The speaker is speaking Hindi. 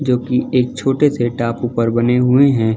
जो कि एक छोटे से टापू पर बने हुए हैं।